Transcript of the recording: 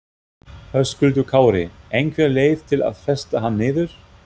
Höskuldur Kári: Einhver leið til að festa hann niður?